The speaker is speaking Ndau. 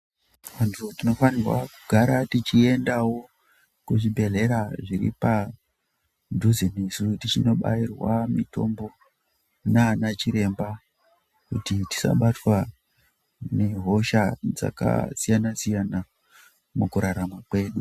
Vantu tinofanirwa kugara tichiendawo kuzvibhedhlera zviri padhuze nesu tichindobayirwa mitombo nana chiremba, kuti tisabatwa nehosha dzakasiyana-siyana mukurarama kwedu.